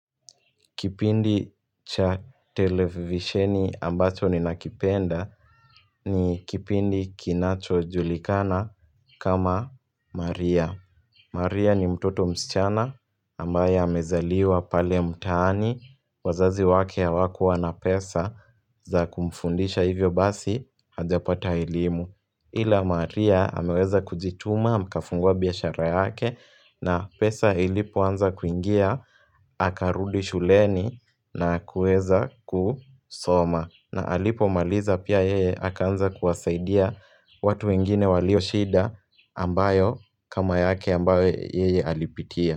Kipindi cha televisheni ambacho ninakipenda ni kipindi kinacho julikana kama "Maria". Maria ni mtoto msichana ambaye amezaliwa pale mtaani. Wazazi wake hawakua na pesa za kumfundisha hivyo basi hajapata elimu. Ila Maria ameweza kujituma, mkafungua biashara yake na pesa ilipo anza kuingia, akarudi shuleni na kuweza kusoma. Na alipo maliza pia yeye akaanza kuwasaidia watu wengine walio shida ambayo kama yake ambayo yeye alipitia.